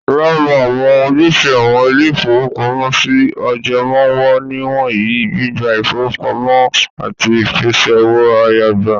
Lára àwọn ojúṣe àwọn ilé-ìfowópamọ́sí ajẹmoówò nìwọ̀nyí; gbígba ìfowópamọ́ àti ìpèsè owó-àyágbà.